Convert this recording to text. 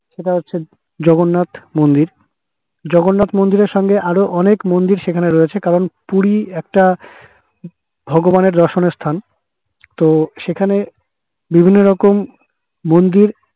সেটা হচ্ছে জগন্নাথ মন্দির জগন্নাথ মন্দিরের সাথে আরো অনেক মন্দির সেখানে রয়েছে কারণ পুরি একটা ভগবানের দর্শনের স্থান তো সেখানে বিভিন্ন রকম মন্দির